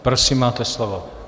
Prosím, máte slovo.